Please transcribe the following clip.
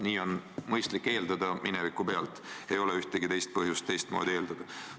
Nii on mõistlik mineviku pealt eeldada, ei ole ühtegi põhjust teistmoodi eeldada.